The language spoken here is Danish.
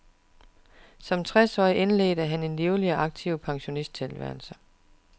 Som tres årig indledte han en livlig og aktiv pensionisttilværelse.